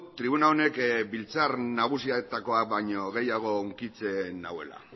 tribuna honek biltzar nagusietakoa baino gehiago hunkitzen nauela